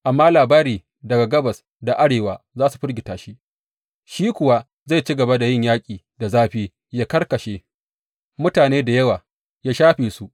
Amma labari daga gabas da arewa za su firgita shi, shi kuwa zai ci gaba da yin yaƙi da zafi, yă karkashe mutane da yawa, yă shafe su.